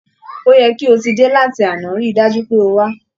Ó yẹ kí o ti dé láti àná, rí i dájú pé o wá